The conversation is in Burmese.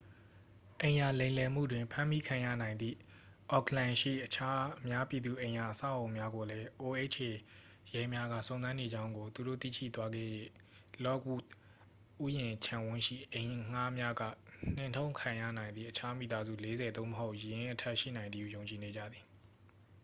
အိမ်ရာလိမ်လည်မှုတွင် ဖမ်းမိခံရနိုင်သည့် အော့ခ်လန်ရှိ အခြား အများပြည်သူအိမ်ရာအဆောက်အအုံများကိုလည်း oha ရဲများက စုံစမ်းနေကြောင်းကို သူတို့ သိရှိသွားခဲ့၍ လော့ခ်ဝုဒ်ဥယျာဉ်ခြံဝန်းရှိ အိမ်ငှားများက နှင်ထုတ်ခံရနိုင်သည့် အခြား မိသားစု 40 သို့မဟုတ် ယင်းအထက် ရှိနိုင်သည်ဟု ယုံကြည်နေကြသည်